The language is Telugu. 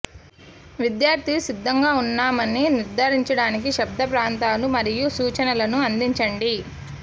విద్యార్థి సిద్ధంగా ఉన్నామని నిర్ధారించడానికి శబ్ద ప్రాంతాలు మరియు సూచనలను అందించండి